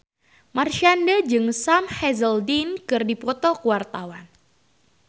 Marshanda jeung Sam Hazeldine keur dipoto ku wartawan